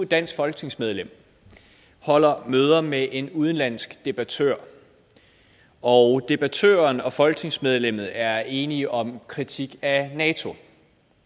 dansk folketingsmedlem holder møder med en udenlandsk debattør og debattøren og folketingsmedlemmet er enige om en kritik af nato